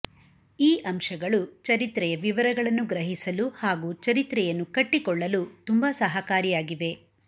ಈ ಅಂಶಗಳು ಚರಿತ್ರೆಯ ವಿವರಗಳನ್ನು ಗ್ರಹಿಸಲು ಹಾಗೂ ಚರಿತ್ರೆಯನ್ನು ಕಟ್ಟಿಕೊಳ್ಳಲು ತುಂಬ ಸಹಕಾರಿಯಾಗಿವೆ